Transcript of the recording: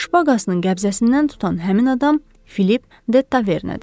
Şpaqasının qəbzəsindən tutan həmin adam Filip De Tavernədir.